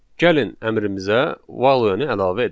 Gəlin əmrimizə value-ni əlavə edək.